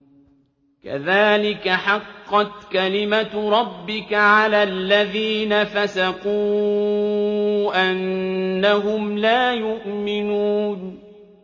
كَذَٰلِكَ حَقَّتْ كَلِمَتُ رَبِّكَ عَلَى الَّذِينَ فَسَقُوا أَنَّهُمْ لَا يُؤْمِنُونَ